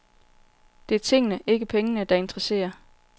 Det er tingene, ikke pengene, der interesserer.